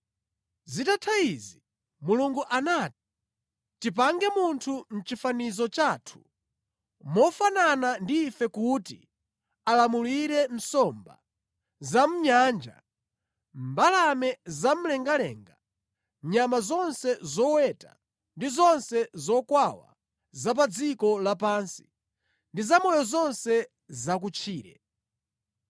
Zitatha izi Mulungu anati, “Tipange munthu mʼchifanizo chathu, mofanana ndi ife kuti alamulire nsomba za mʼnyanja, mbalame zamlengalenga, nyama zonse zoweta ndi zonse zokwawa za pa dziko lapansi ndi zamoyo zonse zakutchire.”